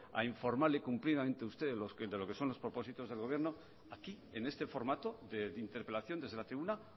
a informarle cumplidamente a usted de lo que son los propósitos del gobierno aquí en este formato de interpelación desde la tribuna